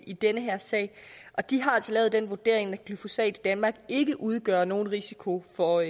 i den her sag de har altså lavet den vurdering at glyfosat i danmark ikke udgør nogen risiko for